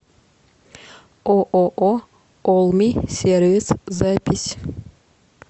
ооо олми сервис запись